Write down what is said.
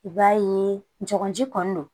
I b'a ye jagoji kɔni don